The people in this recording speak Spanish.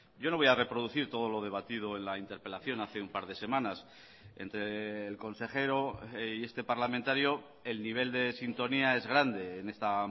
yo no voy a reproducir todo lo debatido en la interpelación hace un par de semanas entre el consejero y este parlamentario el nivel de sintonía es grande en esta